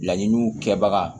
Laɲiniw kɛbaga